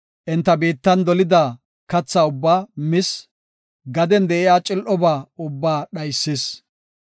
Enta biittan dolida katha ubbaa mis; gaden de7iya cil7oba ubbaa dhaysis.